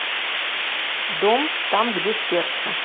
дом там где сердце